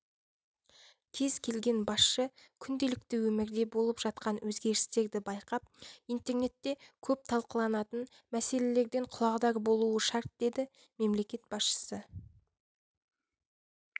кез келген басшы күнделікті өмірде болып жатқан өзгерістерді байқап интернетте көп талқыланатын мәселелерден құлағдар болуы шарт деді мемлекет басшысы